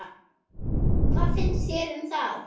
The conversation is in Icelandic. Hvað fannst þér um það?